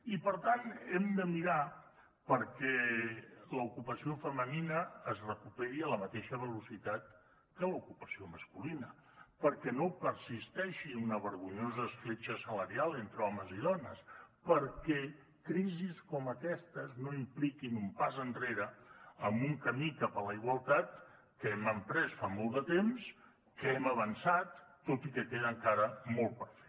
i per tant hem de mirar perquè l’ocupació femenina es recuperi a la mateixa velocitat que l’ocupació masculina perquè no persisteixi una vergonyosa escletxa salarial entre homes i dones perquè crisis com aquestes no impliquin un pas enrere en un camí cap a la igualtat que hem emprès fa molt de temps que hem avançat tot i que queda encara molt per fer